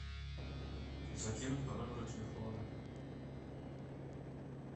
закинуть по номеру телефона